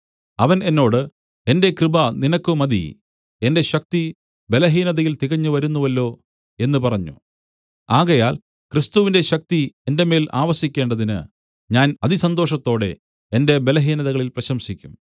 അവൻ എന്നോട് എന്റെ കൃപ നിനക്ക് മതി എന്റെ ശക്തി ബലഹീനതയിൽ തികഞ്ഞുവരുന്നുവല്ലോ എന്ന് പറഞ്ഞു ആകയാൽ ക്രിസ്തുവിന്റെ ശക്തി എന്റെ മേൽ ആവസിക്കേണ്ടതിന് ഞാൻ അതിസന്തോഷത്തോടെ എന്റെ ബലഹീനതകളിൽ പ്രശംസിക്കും